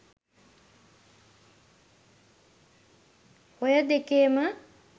ඔය දෙකේම